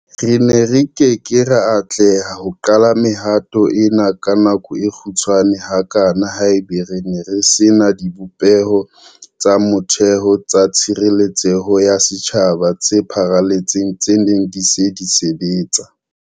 Re ne re ke ke ra atleha ho qala mehato ena ka nako e kgutshwane hakana haeba re ne re se na dibopeho tsa motheo tsa tshireletseho ya setjhaba tse pharaletseng tse neng di se di sebetsa.